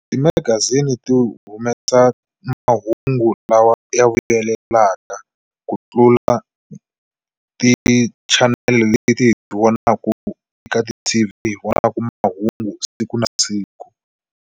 Timagazini ti humesa mahungu lawa ya vuyelaka ku tlula tichanele leti hi ti vonaku eka ti-T_V hi vonaka mahungu siku na siku.